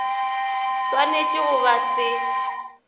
sw anetšego go ba se